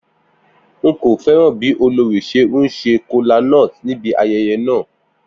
N kò fẹ́ràn bí olórí ṣe ń ṣe kola nut níbi ayẹyẹ náà.